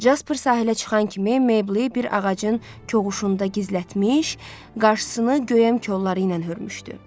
Caper sahilə çıxan kimi Meybli bir ağacın koğuşunda gizlətmiş, qarşısını göyəm kollarla hörmüşdü.